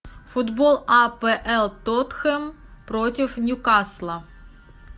футбол апл тоттенхэм против ньюкасла